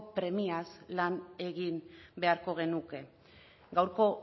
premiaz lan egin beharko genuke gaurko